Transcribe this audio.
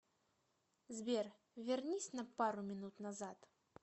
сбер вернись на пару минут назад